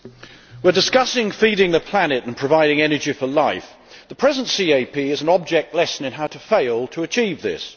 Madam President, we are discussing feeding the planet and providing energy for life. The present CAP is an object lesson on how to fail to achieve this.